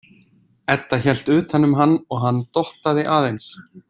Edda hélt utan um hann og dottaði aðeins.